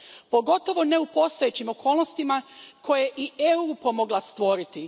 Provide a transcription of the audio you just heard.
Pogotovo ne u postojećim okolnostima koje je i EU pomogla stvoriti.